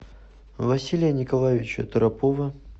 василия николаевича торопова